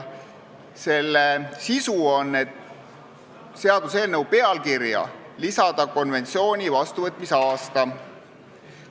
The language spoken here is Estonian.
Selle sisu on see, et seaduseelnõu pealkirja lisatakse konventsiooni vastuvõtmise aasta.